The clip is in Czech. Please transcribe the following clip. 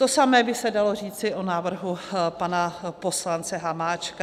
To samé by se dalo říci o návrhu pana poslance Hamáčka.